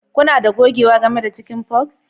Kuna da gogewa game da cinikin forex?